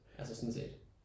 Altså sådan set